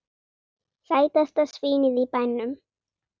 Sætasta svínið í bænum!